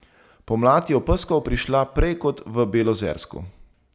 Pomlad je v Pskov prišla prej kot v Belozersku.